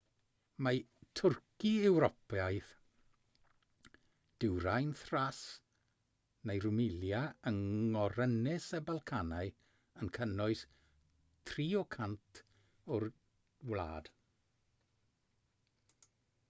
mae twrci ewropeaidd dwyrain thrace neu rumelia yng ngorynys y balcanau yn cynnwys 3% o'r wlad